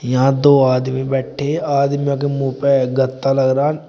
यहां दो आदमी बैठे है आदमियों के मुंह पे गत्ता लग रहा--